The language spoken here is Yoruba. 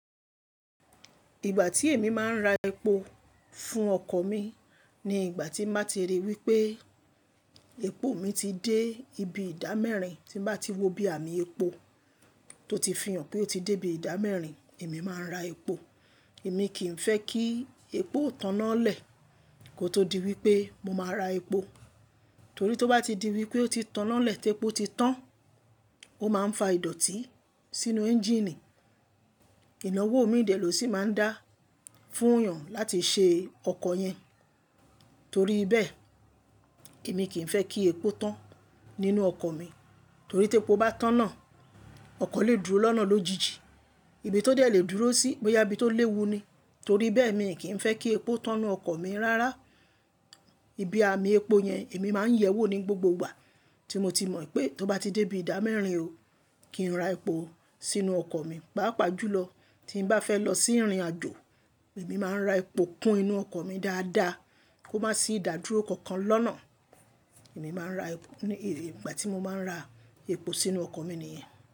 Ìgbà tí èmi máa ń ra epo fún ọkọ̀ mi ni ìgbà tí màá ti ríi wípé epo mi ti dé ibi ìdámẹ́rin, tí n bá ti wọ ibí àmì epo tó ti fi hàn pé ó ti dé ibi ìdámẹ́rin, èmi máa ń ra epo. Èmi kì í fẹ́ kí epo tánná lẹ̀ kó tó di wípé mo máa ra epo. Torí tí ó bá ti di wípé ó ti tánná lẹ̀ tí epo ti tán, ó máa ń fa ìdọ̀tí sínú ẹ́ńjíìnì. Ìnáwó mi dè ló sì máa ń dá fún yàn láti ṣe ọkọ̀ yẹn. Torí bẹ́ẹ̀, èmi kì í fẹ́ kí epo tán nínú ọkọ̀ mi, torí tí epo bá tán ná, ọkọ̀ lè dúró lọ́nà lójijì. Ibi tó dé lè dúró sí, bo yá ibí tó léwu ni. Torí bẹ́ẹ̀ mi kì í fẹ́ kí epo tán n nu ọkọ̀ mi rárá. Ibi àmì epo yẹn èmi máa ń yẹ wò ní gbogbo ìgbà tí mo ti mọ̀ pé tó bá ti dé ibi ìdámẹ́rin ó kí n ra epo sínú ọkọ̀ mi. Páápàá jùlọ tí n bá fẹ́ lọ sí ìrìnàjò, èmi máa ń ra epo kun inú ọkọ̀ mi dáadáa kó má sì idá dúró kankan lọ́nà. Èmi máa ń ra, e ni ìgbà tí mo máa ń ra epo sínú ọkọ̀ mi nìyẹn.